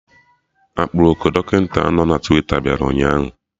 Aproko Dọkịta nọ na Twita bịara ụnyaahụ